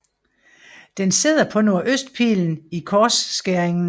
Den sidder på nordøstpillen i korsskæringen